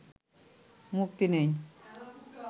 মুক্তি নেই